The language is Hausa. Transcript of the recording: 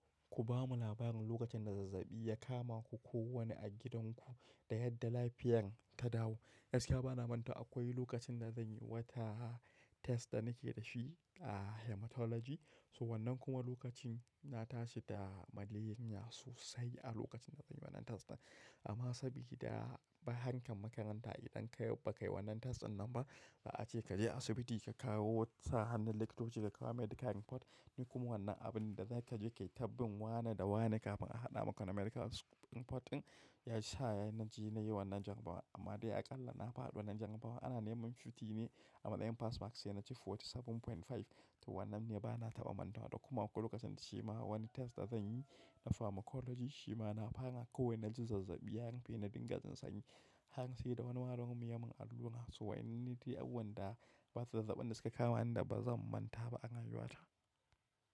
Ku ba mu labarin lokacin da zazzabi ya kama ku ko wani a gidanku da yadda lafiyan ka dawo. Yaushe ka ba na manta akwai lokacin da zan yi wata test da nake da shi a hematology. So wannan kuma lokacin na tashi da maleriya sosai a lokacin da zan yi wannan test ɗin. Amma saboda hankan makaranta idan ka bai ka yi wannan test ɗin nan ba, za a ce ka je asibiti ka kawo sa hannun likita wuce ka kawo medical import. Ni kuma wannan abun da za ka je kai tabbin wane da wane kafin a haɗa maka na medical import ɗin ya ci sa'a na ji na yi wannan jan bawa. Amma dai aƙalla na faɗi wannan jarabawa. Ana neman fifty ne amma ɗayan pass marks sai naci forty seven point five to wannan ne ba na taɓa manta ba. Da kuma lokacin shima wani test da zan yi na pharmacology shima na fara kowani na ji zazzabi har an fi na dinga jin sanyi. Har sai da wani malamin mu miyan mun allura so in nita yau wannan da zazzaɓin da suka kama ni da ba zan manta ba a rayuwata.